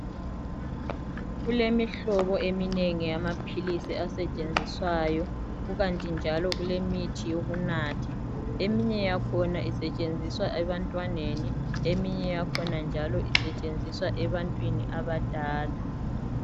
Kulemihlobo eminengi yamaphilisi asetshenziswayo kukanti njalo kulemithi yokunatha. Eminye yayo isetshenziswa ebantwaneni, eminye yakhona njalo isetshenziswa ebantwini abadala.